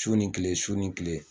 Su ni tile su ni tile